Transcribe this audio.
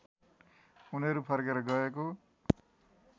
उनीहरू फर्केर गएको